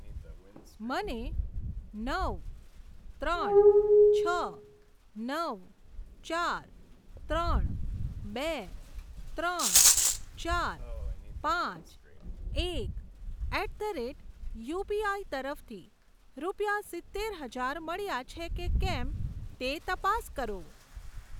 મને નવ ત્રણ છ નવ ચાર ત્રણ બે ત્રણ ચાર પાંચ એક એટ ધ રેટ યુપીઆઈ તરફથી રૂપિયા સિત્તેર હજાર મળ્યા છે કે કેમ તે તપાસ કરો.